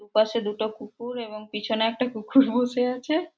দুপাশে দুটা কুকুর এবং পেছনে একটা কুকুর বসে আছে।